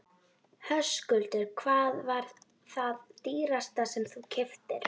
Höskuldur: Hvað var það dýrasta sem þú keyptir?